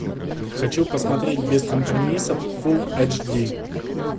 хочу посмотреть без компромиссов фул эйч ди